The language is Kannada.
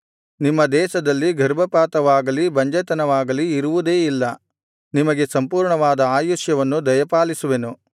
ನಿಮ್ಮ ದೇಶದಲ್ಲಿ ಗರ್ಭಪಾತವಾಗಲಿ ಬಂಜೆತನವಾಗಲಿ ಇರುವುದೇ ಇಲ್ಲ ನಿಮಗೆ ಸಂಪೂರ್ಣವಾದ ಆಯುಷ್ಯವನ್ನು ದಯಪಾಲಿಸುವೆನು